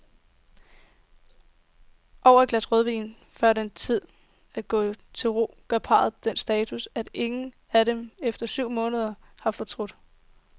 Over et glas rødvin, før det er tid at gå til ro, gør parret den status, at ingen af dem efter syv måneder har fortrudt.